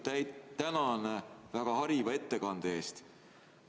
Kõigepealt tänan väga hariva ettekande eest!